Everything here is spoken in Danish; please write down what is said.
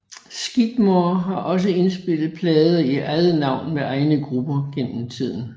Skidmore har også indspillet plader i eget navn med egne grupper gennem tiden